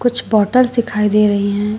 कुछ बॉटल्स दिखाई दे रही हैं।